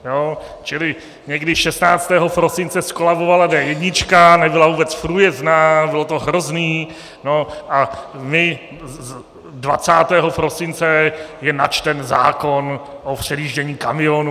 Čili někdy 16. prosince zkolabovala D1, nebyla vůbec průjezdná, bylo to hrozný, no a my - 20. prosince je načten zákon o předjíždění kamionů.